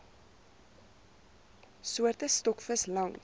soorte stokvis langs